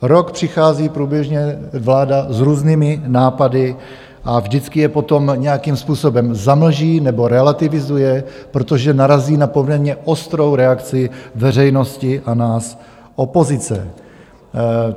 Rok přichází průběžně vláda s různými nápady a vždycky je potom nějakým způsobem zamlží nebo relativizuje, protože narazí na poměrně ostrou reakci veřejnosti a nás, opozice.